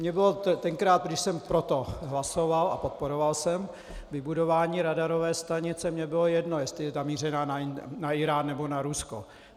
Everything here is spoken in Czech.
Mně bylo tenkrát, když jsem pro to hlasoval a podporoval jsem vybudování radarové stanice, mně bylo jedno, jestli je namířená na Írán, nebo na Rusko.